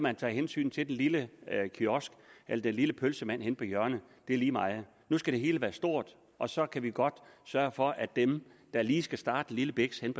at tage hensyn til den lille kiosk eller den lille pølsemand henne på hjørnet er lige meget nu skal det hele være stort og så kan vi godt sørge for at dem der lige skal starte en lille biks henne